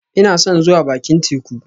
Ina son zuwa bakin teku